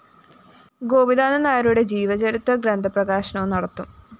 ഗോപിനാഥന്‍നായരുടെ ജീവചരിത്രഗ്രന്ഥ പ്രകാശനവും നടത്തും